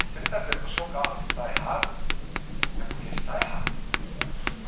E se ele está dizendo que o seu carro está errado, é porque está errado.